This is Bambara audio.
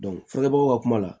ka kuma la